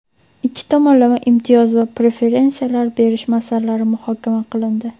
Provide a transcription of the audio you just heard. ikki tomonlama imtiyoz va preferensiyalar berish masalalari muhokama qilindi.